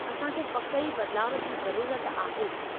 असांखे पकि ई बदिलाउ जी ज़रूरत आहे।